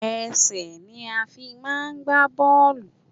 Ẹsẹ̀ ni a fi máà ń gbá bọ́ọ̀lù.